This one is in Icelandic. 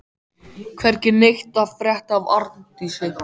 Hvergi neitt að frétta af Arndísi.